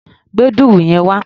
Gbé dùrù yẹn wá!